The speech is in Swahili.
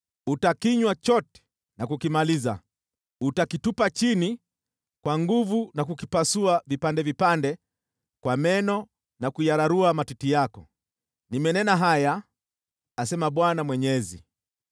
Utakinywa chote na kukimaliza; utakivunja vipande vipande na kuyararua matiti yako. Nimenena haya, asema Bwana Mwenyezi.